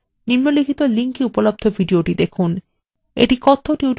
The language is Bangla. নিম্নলিখিত link এ উপলব্ধ video দেখুন